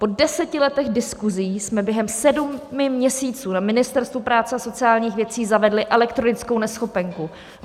Po deseti letech diskusí jsme během sedmi měsíců na Ministerstvu práce a sociálních věcí zavedli elektronickou neschopenku.